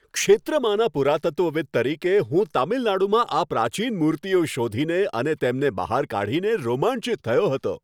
ક્ષેત્રમાંના પુરાતત્વવિદ્ તરીકે, હું તમિલનાડુમાં આ પ્રાચીન મૂર્તિઓ શોધીને અને તેમને બહાર કાઢીને રોમાંચિત થયો હતો.